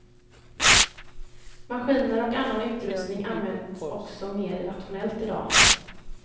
Maskiner och annan utrustning används också mer rationellt i dag.